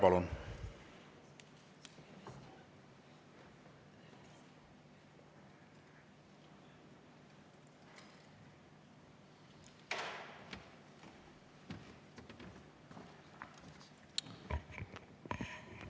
Palun!